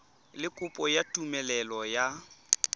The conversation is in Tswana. le kopo ya tumelelo ya